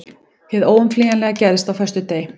Hið óumflýjanlega gerðist á föstudegi.